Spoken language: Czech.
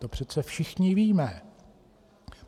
To přece všichni víme.